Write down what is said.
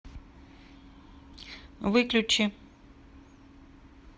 выключи